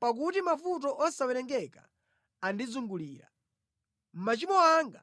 Pakuti mavuto osawerengeka andizungulira; machimo anga